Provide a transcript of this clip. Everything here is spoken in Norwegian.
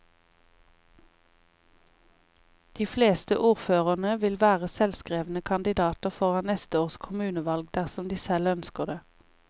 De fleste ordførerne vil være selvskrevne kandidater foran neste års kommunevalg dersom de selv ønsker det.